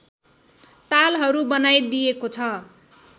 तालहरू बनाइदिएको छ